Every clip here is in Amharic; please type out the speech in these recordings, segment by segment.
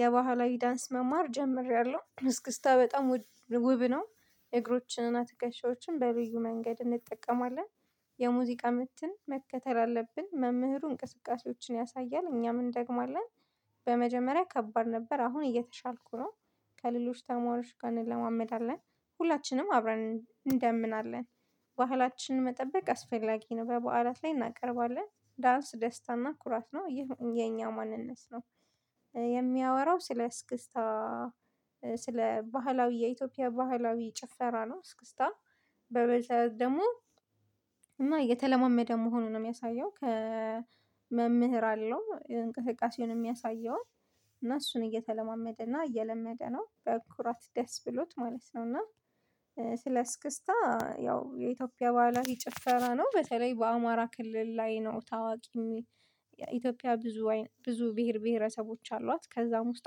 የባህላዊ ዳንስ መማር ጀምሬያለሁ እስክስታ በጣም ውብ ነው። እግሮችንና ትከሻዎችን በልዩ መንገድ እንጠቀማለን የሙዚቃ ምትን መከተል አለብን መምህሩ እንቅስቃሴዎችን ያሳያል እኛም እንደግማለን። በመጀመሪያ ከባድ ነበር አሁን እየተሻልኩ ነው። ከሌሎች ተማሪዎች ጋር እንለማመድ አለን ሁላችንም አብረን እንደምናለን። ባህላችንን መጠበቅ አስፈላጊ ነው በበዓላት ላይ እናቀርባለን ዳንስ ደስታና ኩራት ነው የኛ ማንነት ነው። የሚያወራው ስለ እስክስታ። ስለ ባህላዊ የኢትዮጵያ ባህላዊ ጭፈራ ነው እስክስታ። በመሰረቱ ደግሞ እና የተለማመደ መሆኑን ነው የሚያሳየው ከመምህር አለው እንቅስቃሴውን የሚያሳየው። እና እሱን እየተለማመደ እና እየለመደ ነው በኩራት ደስ ብሎት ማለት ነው። እና ስለ እስክስታ ያው የኢትዮጵያ ባህላዊ ጭፈራ ነው። በተለይ በአማራ ክልል ላይ ነው ታዋቂ የሚ ኢትዮጵያ ብዙ ብዙ ብሄር ብሄረሰቦች አሏት ከዛም ውስጥ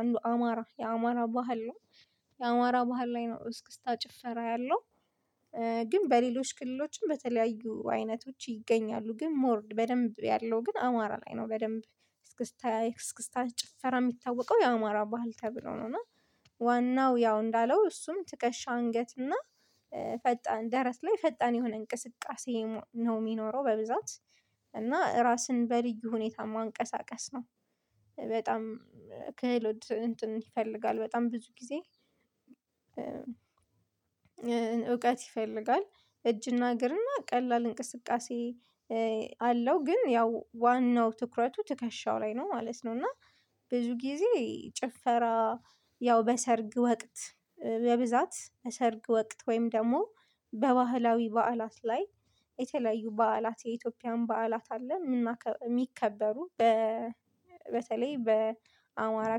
አንዱ አማራ የአማራ ባህል ነው። የአማራ ባህል ላይ ነው እስክስታ ጭፈራ ያለው። ግን በሌሎች ክልሎችም በተለያዩ አይነቶች ይገኛሉ ግን ሞር በደንብ ያለው ግን አማራ ላይ ነው። በደንብ እስክስታ እስክስታ ጭፈራ የሚታወቀው የአማራ ባህል ተብሎ ነው። እና እና ዋናው ያው እንዳለው እሱም ትከሻ አንገት እና ፈጣን ደረት ላይ ፈጣን የሆነ እንቅስቃሴ ነው የሚኖረው። በብዛት እና ራስን በልዩ ሁኔታ ማንቀሳቀስ ነው። ክህሎት ይፈልጋል በጣም ብዙ ጊዜ እውቀት ይፈልጋል። እጅና እግርና ቀላል እንቅስቃሴ አለው ግን ያው ዋናው ትኩረቱ ትከሻው ላይ ነው ማለት ነው። እና ብዙ ጊዜ ጭፈራ ያው በሰርግ ወቅት በብዛት በሰርግ ወቅት ወይም ደግሞ በባህላዊ በዓላት ላይ የተለያዩ በዓላት የኢትዮጵያን በዓላት አለ። የሚከበሩ በተለይ በአማራ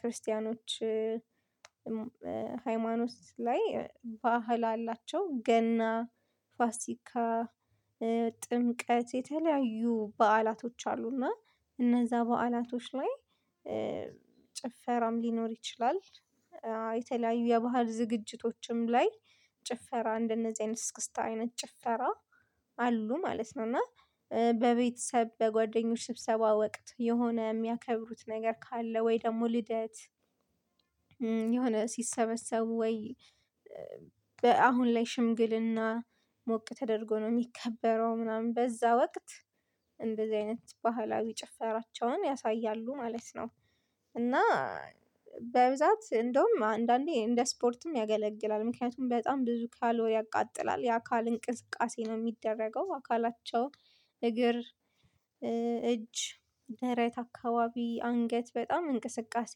ክርስቲያኖች ሃይማኖት ላይ ባህል አላቸው ገና ፋሲካ ጥምቀት የተለያዩ በዓላቶች አሉና እነዛ በዓላቶች ላይ ጭፈራም ሊኖር ይችላል። የተለያዩ የባህል ዝግጅቶችም ላይ ጭፈራ እንደነዚህ አይነት ስክስታ አይነት ጭፈራ አሉ ማለት ነው። እና በቤተሰብ በጓደኞች ስብሰባ ወቅት የሆነ የሚያከብሩት ነገር ካለ ወይ ደግሞ ልደት የሆነ ሲሰበሰቡ ወይ አሁን ላይ ሽምግልና ሞቅ ተደርጎ ነው የሚከበረው ምናምን በዛ ወቅት እንደዚህ አይነት ባህላዊ ጭፈራቸውን ያሳያሉ ማለት ነው። እና በብዛት እንደውም አንዳንዴ እንደ ስፖርትም ያገለግላል ምክንያቱም በጣም ብዙ ካሎሪ ያቃጥላል የአካል እንቅስቃሴ ነው የሚደረገው። አካላቸው እግር እጅ ደረት አካባቢ አንገት በጣም እንቅስቃሴ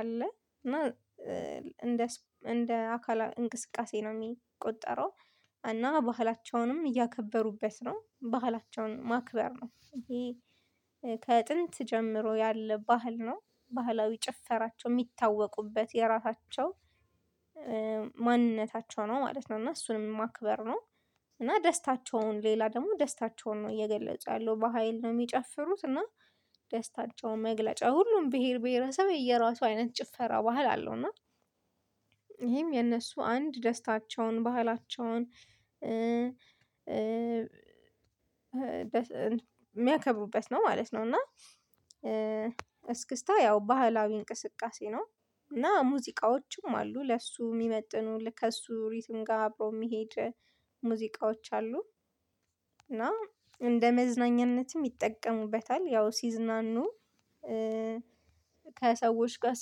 አለ እና እንደ እንደ አካል እንቅስቃሴ ነው የሚቆጠረው። እና ባህላቸውንም እያከበሩበት ነው ባህላቸውን ማክበር ነው። ይሄ ጀምሮ ያለ ባህል ነው። ባህላዊ ጭፈራቸው የሚታወቁበት የራሳቸው ማንነታቸው ነው ማለት ነው እና እሱንም ማክበር ነው። እና ደስታቸውን ሌላ ደግሞ ደስታቸውን ነው እየገለጸ ያለው በሃይል ነው የሚጨፍሩት። እና ደስታቸውን መግለጫ ሁሉም ብሄር ብሄረሰብ የራሱ አይነት ጭፈራ ባህል አለው። እና ይሄም የእነሱ አንድ ደስታቸውን ባህላቸውን የሚያከሩቡበት ነው ማለት ነው። እና እስክስታ ያው ባህላዊ እንቅስቃሴ ነው። እና ሙዚቃዎችም አሉ ለእሱ የሚመጥኑ ከእሱ ሪትም ጋር አብሮ የሚሄድ ሙዚቃዎች አሉ። እና እንደ መዝናኛነትም ይጠቀሙበታል ያው ሲዝናኑ ከሰዎች ጋር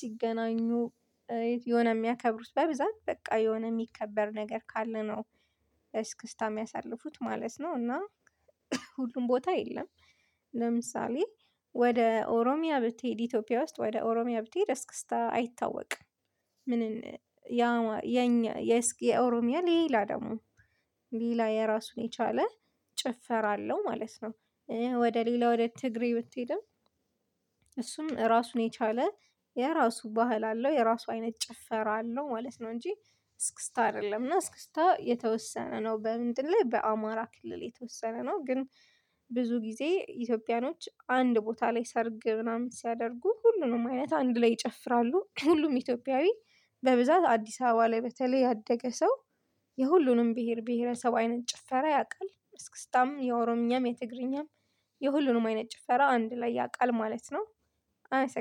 ሲገናኙ የሆነ የሚያከብሩት በብዛት በቃ የሆነ የሚከበር ነገር ካለ ነው። እስክስታ የሚያሳልፉት ማለት ነው። እና ሁሉም ቦታ የለም። ለምሳሌ ወደ ኦሮሚያ ብትሄድ ኢትዮጵያ ውስጥ ወደ ኦሮሚያ ብትሄድ አስክስታ አይታወቅም። ምንን ያ የኛ የእስኪ የኦሮሚያ ሌላ ደግሞ ሌላ የራሱን የቻለ ጭፈራ አለው ማለት ነው። ወደ ሌላ ወደ ትግሬ ብትሄድም እሱም ራሱን የቻለ የራሱ ባህል አለው የራሱ አይነት ጭፈራ አለው ማለት ነው። እንጂ እስክስታ አይደለም። እና እስክስታ የተወሰነ ነው በምንድነው በአማራ ክልል የተወሰነ ነው። ግን ብዙ ጊዜ ኢትዮጵያኖች አንድ ቦታ ላይ ሰርግ ምናምን ሲያደርጉ ሁሉንም አይነት አንድ ላይ ይጨፍራሉ ሁሉም ኢትዮጵያዊ። በብዛት አዲስ አበባ ላይ በተለይ ያደገ ሰው የሁሉንም ብሄር ብሄረሰብ አይነት ጭፈራ ያውቃል እስክስታም የኦሮምኛም የትግርኛም የሁሉንም አይነት ጭፈራ አንድ ላይ ያውቃል ማለት ነው። አይሰም